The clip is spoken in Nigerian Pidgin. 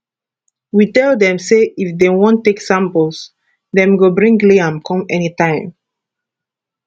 we tell dem say if dem wan take samples dem go bring liam come anytime